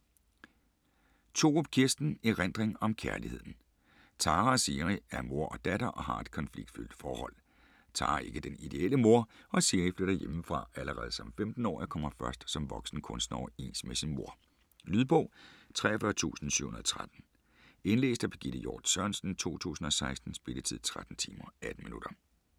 Thorup, Kirsten: Erindring om kærligheden Tara og Siri er mor og datter og har et konfliktfyldt forhold. Tara er ikke den ideelle mor, og Siri flytter hjemmefra allerede som 15-årig og kommer først som voksen kunstner overens med sin mor. Lydbog 43713 Indlæst af Birgitte Hjort Sørensen, 2016. Spilletid: 13 timer, 18 minutter.